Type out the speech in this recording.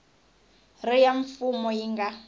ri ya mfumo yi nga